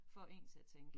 Får én til at tænke